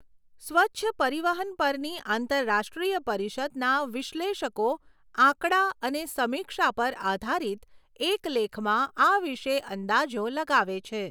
સ્વચ્છ પરિવહન પરની આંતરરાષ્ટ્રીય પરિષદના વિશ્લેષકો આંકડા અને સમીક્ષા પર આધારિત એક લેખમાં આ વિષે અંદાજો લગાવે છે.